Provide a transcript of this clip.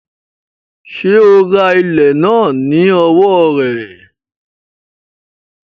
Sé o ra ilẹ̀ náà ní owó rẹ̀?